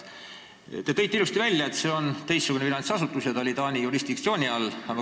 Te ütlesite ilusti, et see on teistsugune finantsasutus ja ta oli Taani jurisdiktsiooni all.